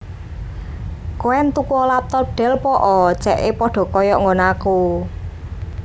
Koen tukuo laptop Dell po'o ce'e podo koyok nggonanku